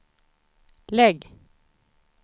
lägg